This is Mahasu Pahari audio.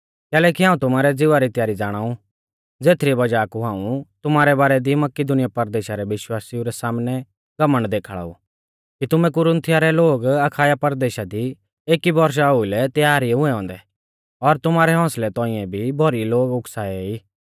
कैलैकि हाऊं तुमारै ज़िवा री त्यारी ज़ाणाउ ज़ेथरी वज़ाह कु हाऊं तुमारै बारै दी मकिदुनीया परदेशा रै विश्वासिऊ रै सामनै घमण्ड देखाल़ा ऊ कि तुमै कुरिन्थिया रै लोग अखाया परदेशा दी एकी बौरशा ओउलै त्यार ई हुऐ औन्दै और तुमारै हौसलै तौंइऐ भी भौरी लोग उकसाऐ ई